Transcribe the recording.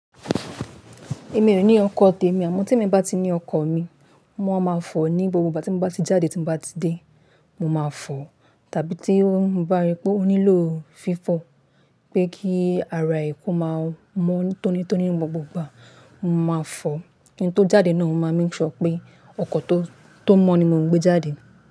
Èmi ò ní ọkọ̀ tèmi àmọ́ tí èmi bá ti ní ọkọ̀ mi, mo máa fò ní gbogbo ìgbà tí mo bá ti jáde, tí mo bá ti dé, mo máa fò tàbí tí mo bá rí pé ó nílò fífọ̀ pé kí ara ẹkùn máa mọ́ tónítóní ní gbogbo, mo màá fọ̀. Kin tó jáde naa máa ma make pé ọkọ̀ tó mọ́ ni mò ń gbé jáde.